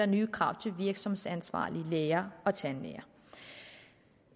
nye krav til virksomhedsansvarlige læger og tandlæger